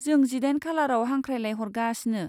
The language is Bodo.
जों जिदाइन खालाराव हांख्रायलाय हरगासिनो।